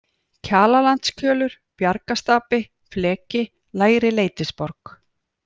Kjalarlandskjölur, Bjargastapi, Fleki, Lægri-Leitisborg